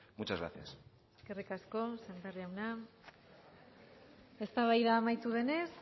muchas gracias eskerrik asko sémper jauna eztabaida amaitu denez